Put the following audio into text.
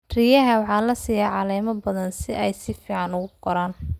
Riyaha waxaa la siiyaa caleemo badan si ay si fiican u koraan.